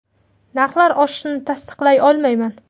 Narxlar oshishini tasdiqlay olmayman.